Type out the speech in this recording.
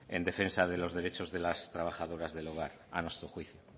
en defensa de los derechos de las trabajadoras del hogar a nuestro juicio